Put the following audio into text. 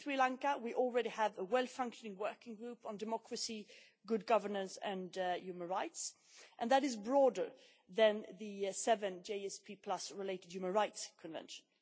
With Sri Lanka we already have a well-functioning working group on democracy, good governance and human rights, and that is broader than the GSP related human rights conventions.